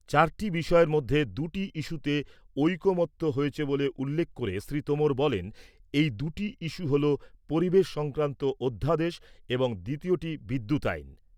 চারটি বিষয়ের মধ্যে দুটি ইস্যুতে ঐকমত্য হয়েছে বলে উল্লেখ করে শ্রী তোমর বলেন, এই দুটি ইস্যু হল, পরিবেশ সংক্রান্ত অধ্যাদেশ এবং দ্বিতীয়টি বিদ্যুৎ আইন।